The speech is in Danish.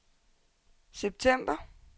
september